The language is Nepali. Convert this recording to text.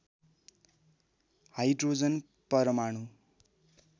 हाइड्रोजन परमाणु